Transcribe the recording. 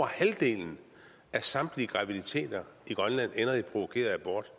halvdelen af samtlige graviditeter i grønland ender i provokeret abort